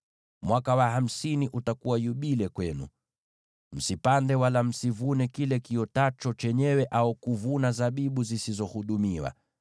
Mwaka wa hamsini utakuwa yubile kwenu, msipande wala msivune kile kiotacho chenyewe, au kuvuna zabibu zisizohudumiwa.